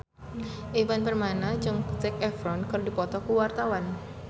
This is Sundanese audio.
Ivan Permana jeung Zac Efron keur dipoto ku wartawan